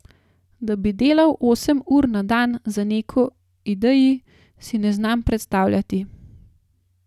Da bi delal osem ur na dan za neko ideji, si ne znam predstavljati.